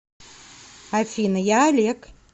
афина я олег